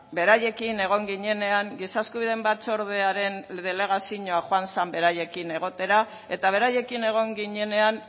beraiekin egon ginenean giza eskubideen batzordearen delegazioa joan zen beraiekin egotera eta beraiekin egon ginenean